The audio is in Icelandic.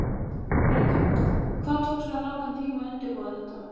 Helga: Hvað tók svona langan tíma að undirbúa þetta?